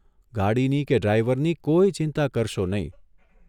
ગાડીની કે ડ્રાઇવરની કોઇ ચિંતા કરશો નહીં.